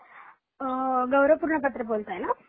अं गौरवपूर्ण कत्र बोलताय न